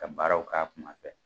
Ka baaraw k'a kuma fɛ.